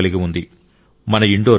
indoor పౌరులు కూడా అభినందనలకు అర్హులు